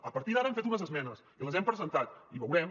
a partir d’ara hem fet unes esmenes i les hem presentat i ho veurem